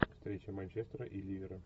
встреча манчестера и ливера